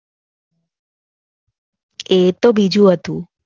એ તો બીજું હતું.